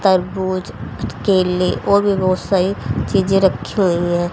तरबूज केले और भी बोहोत सारी चीजे रखी हुई है।